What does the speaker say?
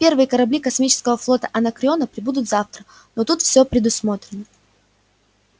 первые корабли космического флота анакреона прибудут завтра но тут всё предусмотрено